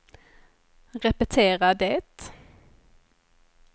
repetera det